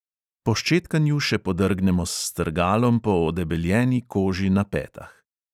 Po ščetkanju še podrgnemo s strgalom po odebeljeni koži na petah.